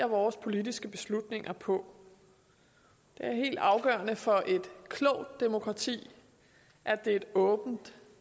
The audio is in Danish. vores politiske beslutninger på det er helt afgørende for et klogt demokrati at det er et åbent